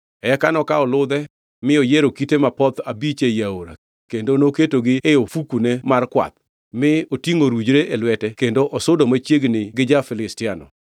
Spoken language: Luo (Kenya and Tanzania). Eka nokawo ludhe mi oyiero kite mapoth abich ei aora kendo noketogi e ofukune mar kwath mi otingʼo orujre e lwete kendo osudo machiegni gi ja-Filistiano.